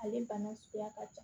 Ale bana suguya ka ca